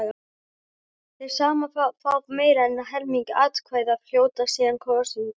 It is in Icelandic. Þeir sem fá meira en helming atkvæða hljóta síðan kosningu.